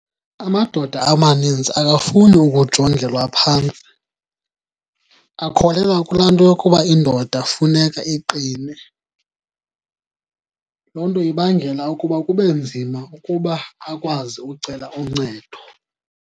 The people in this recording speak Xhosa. Amadoda amaninzi akafuni ukujongelwa phantsi akholelwa kulaa nto yokuba indoda funeka iqine. Loo nto ibangela ukuba kube nzima ukuba akwazi ucela uncedo.